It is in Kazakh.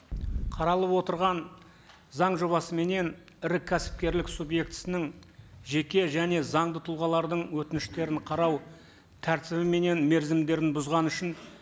қаралып отырған заң жобасыменен ірі кәсіпкерлік субъектісінің жеке және заңды тұлғалардың өтініштерін қарау тәртібі менен мерзімдерін бұзған үшін